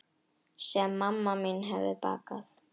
Sem mamma mín hefði bakað.